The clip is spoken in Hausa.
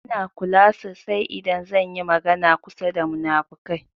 Ina kula sasai idan zan yi magana kusa da munafukai.